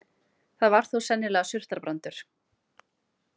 Það var þó sennilega surtarbrandur.